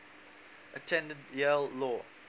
attended yale law